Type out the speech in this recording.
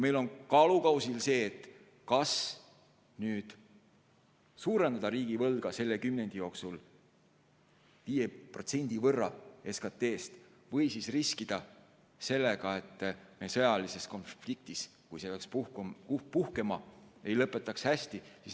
Meil on kaalukausil, kas suurendada riigivõlga selle kümnendi jooksul 5% võrra SKT-st või riskida sellega, et me sõjalise konflikti korral, kui see peaks puhkema, ei lõpeta hästi.